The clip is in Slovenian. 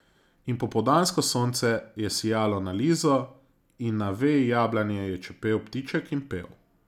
In popoldansko sonce je sijalo na Lizo in na veji jablane je čepel ptiček in pel.